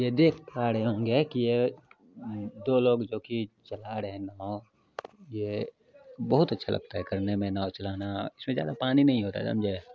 ये देख पा रहे होंगे की ये दो लोग जो की चला रहे है नाव ये बहुत अच्छा लगता हैं करने मे नाव चलाना ज्यादा पानी नहीं होता है समझे --